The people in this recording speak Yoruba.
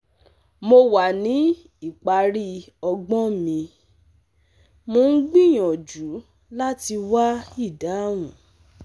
Mo wà ní ìparí ọgbọ́n mi, mò ń gbìyànjú láti wá ìdáhùn